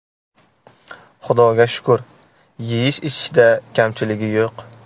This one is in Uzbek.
Xudoga shukur, yeyish-ichishda kamchiligi yo‘q.